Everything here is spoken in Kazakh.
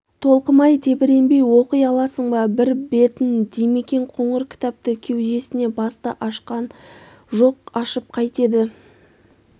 толқымай тебіренбей оқи аласың ба бір бетін димекең қоңыр кітапты кеудесіне басты ашқан жоқ ашып қайтеді